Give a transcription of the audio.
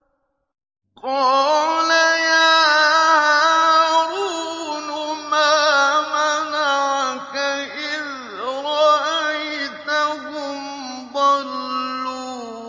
قَالَ يَا هَارُونُ مَا مَنَعَكَ إِذْ رَأَيْتَهُمْ ضَلُّوا